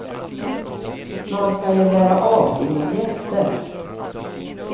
Man ska ju vara artig mot gäster.